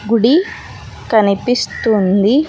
గుడి కనిపిస్తుంది.